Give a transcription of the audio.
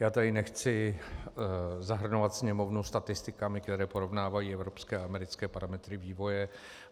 Já tady nechci zahrnovat Sněmovnu statistikami, které porovnávají evropské a americké parametry vývoje.